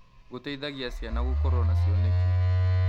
Gũteithagia ciana gũkorwo na cioneki.